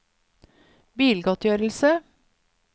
bilgodtgjørelse